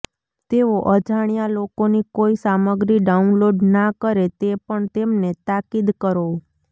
તેઓ અજાણ્યા લોકોની કોઈ સામગ્રી ડાઉનલોડ ના કરે તે પણ તેમને તાકીદ કરો